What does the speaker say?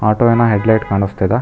Auto ವಿನ headlight ಕಾಣಿಸ್ತಿದೆ.